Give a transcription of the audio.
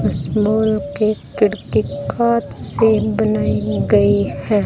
इस फ्लोर के खिड़की कांच से बनाई गई है।